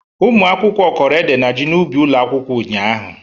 Ụmụ akwụkwọ kọrọ ede na ji n'ubi ụlọ akwụkwọ ụnyaahụ